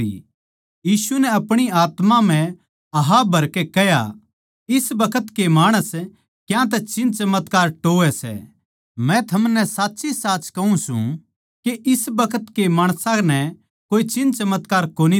यीशु नै आपणी आत्मा म्ह आह भरकै कह्या इस बखत के माणस क्यांतै चिन्हचमत्कार टोह्वैं सै मै थमनै साच्चीसाच कहूँ सूं के इस बखत के माणसां नै कोए चिन्हचमत्कार कोनी दिया जावैगा